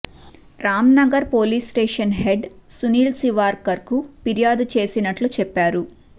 Ramnagar police station head Sunil శివార్కర్కు ఫిర్యాదు చేసినట్లు చెప్పారు